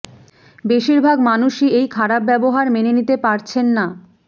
বেশিরভাগ মানুষই এই খারাপ ব্যবহার মেনে নিতে পারছেন না